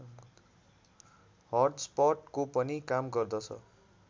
हटस्पटको पनि काम गर्दछ